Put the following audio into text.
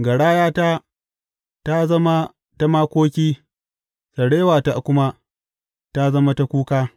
Garayata ta zama ta makoki, sarewata kuma ta zama ta kuka.